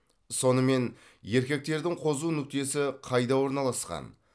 сонымен еркектердің қозу нүктесі қайда орналасқан